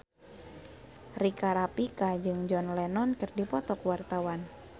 Rika Rafika jeung John Lennon keur dipoto ku wartawan